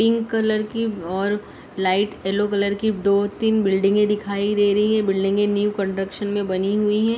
Pink colour की और light yellow colour की दो तिन बिल्डिंग दिखाई दे रही है बिल्डिंगे न्यू कंस्ट्रक्सन में बनी हुई हे।